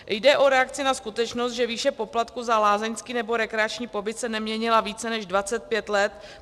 Jde o reakci na skutečnost, že výše poplatku za lázeňský nebo rekreační pobyt se neměnila více než 25 let.